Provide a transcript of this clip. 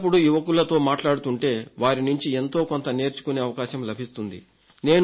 అప్పుడప్పుడు యువకులతో మాట్లాడుతుంటే వారి నుంచి ఎంతో కొంత నేర్చుకొనే అవకాశం లభిస్తుంది